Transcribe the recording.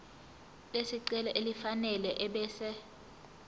lesicelo elifanele ebese